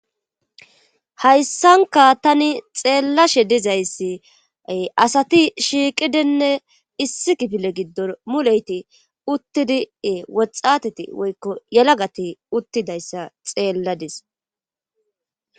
hayssankka tani xeellashe dizayssi asati shiiqidinne issi kifile giddon mulleti uuttidii woxxateti woykko yalagati uttidayssa xeelladis